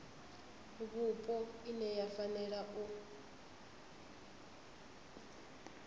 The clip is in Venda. vhupo ine ya fanela u